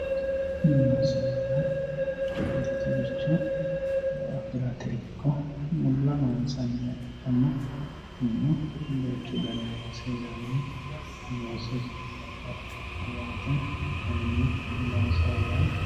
Loosoho yaa mitoricho affirate ikko mulla loonsanniha ikkano kunino duuchu dani loosi heerano, loosu babaxinoho yaate kayini loosoho yaa